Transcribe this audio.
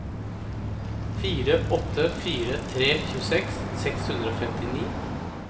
fire åtte fire tre tjueseks seks hundre og femtini